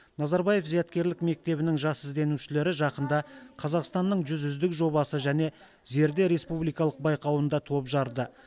назарбаев зияткерлік мектебінің жас ізденушілері жақында қазақстанның жүз үздік жобасы және зерде республикалық байқауында топ жарды